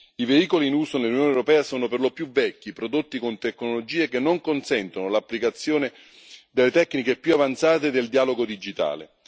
I veicoli in uso nell'Unione europea sono per lo più vecchi, prodotti con tecnologie che non consentono l'applicazione delle tecniche più avanzate e del dialogo digitale.